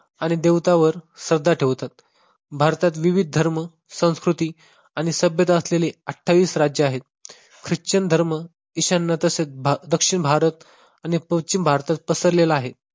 आणि देवता वर श्रद्धा ठेवतात. भारतात विविध धर्म, संस्कृती आणि सभ्यता असलेले अठ्ठावीस राज्य आहेत. ख्रिश्चन धर्म ईशान्य तसेच दक्षिण भारत पश्चिम भारतात पसरलेला आहे.